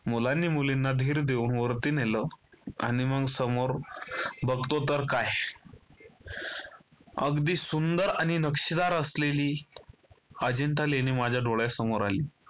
मुलांनी मुलींना धीर देऊन वरती नेलं आणि मग समोर बघतो तर काय अगदी सुंदर आणि नक्षीदार असलेली अजिंठा लेणी माझ्या डोळ्यासमोर आली.